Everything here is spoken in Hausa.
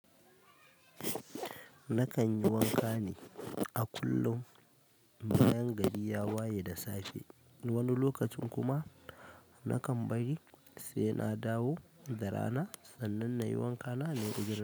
Nakan yi wanka ne a kullum. Bayan gari ya waye da safe, wani lokacin kuma nakan bari sai na dawo da rana sannan na yi wanka na, nayo gida.